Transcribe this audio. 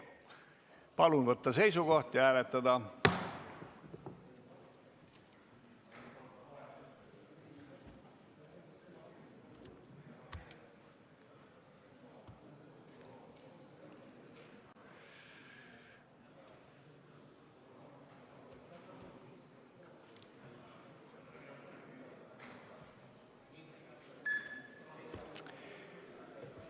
Palun võtta seisukoht ja hääletada!